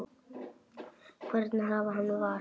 Hvernig afi hann var.